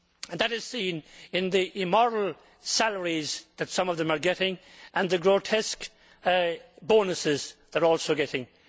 That is seen in the immoral salaries that some of them are getting and the grotesque bonuses they are also getting.